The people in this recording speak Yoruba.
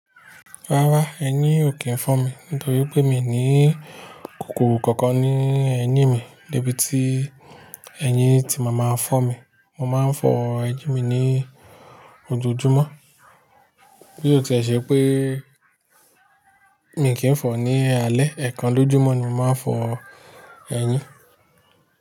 Rárá, ẹyin ò kí ń fọ́n mi nítorí pé mi ní kòkòrò kankan ní ẹ̀yín mi níbi tí ẹyin tí mo máa ń fọ́ mi. Mo máa ń fọ ẹyin mi ní ojoojúmọ́. Bí ó ti ṣe pé mi kì í fọ̀ ní alẹ́, ẹ̀ẹ̀kan lójúmọ́ ni mo máa ń fọ ẹyin.